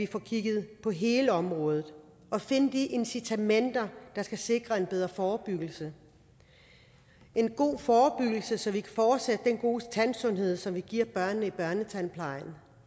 få kigget på hele området og at finde de incitamenter der skal sikre en bedre forebyggelse en god forebyggelse så vi kan fortsætte den gode tandsundhed som vi giver børnene i børnetandplejen